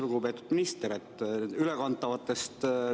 Lugupeetud minister!